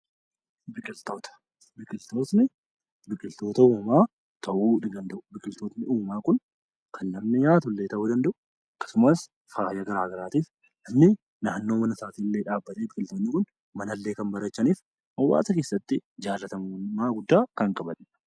Biqiloonni kan uumamaa ta'uu ni danda'u. Biqloonni uumamaa kun kan namni nyaatullee ta'uu ni danda'u. Akkasumas fayidaa garaagaraatiif namoonni naannoo mana isaanii illee dhaabuu ni danda'u. Isaanis manallee kan bareechanii fi hawaasa keessatti jaallatamummaa guddaa kan qabanidha.